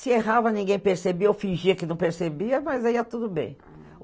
Se errava, ninguém percebia ou fingia que não percebia, mas aí ia tudo bem.